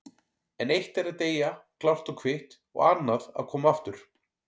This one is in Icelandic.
En eitt er að deyja klárt og kvitt og annað að koma aftur.